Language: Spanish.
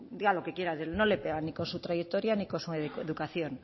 diga lo que quiera no le pegan ni con su trayectoria ni con su educación